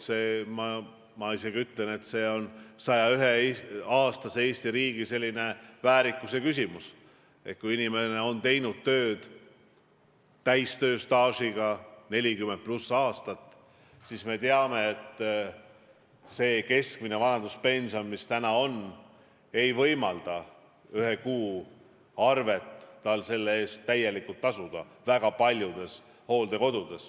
Ma isegi ütlen, et see on 101-aastase Eesti riigi väärikuse küsimus, et kui inimene on teinud tööd 40+ aastat, siis keskmine vanaduspension, mis täna on, ei võimalda tal selle eest väga paljudes hooldekodudes ühe kuu arvet täielikult tasuda.